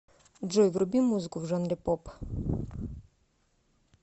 джой вруби музыку в жанре поп